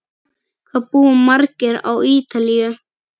Hvað búa margir á Ítalíu?